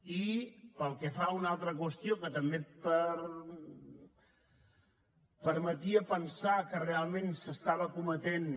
i pel que fa a una altra qüestió que també permetia pensar que realment s’estava cometent